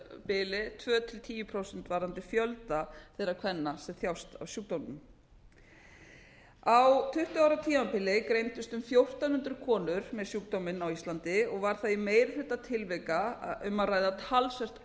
bili tvö til tíu prósent varðandi fjölda þeirra kvenna sem þjást af sjúkdómnum á tuttugu ára tímabili greindust um fjórtán hundruð konur með sjúkdóminn á íslandi og þar var í meiri hluta tilvika um að ræða talsvert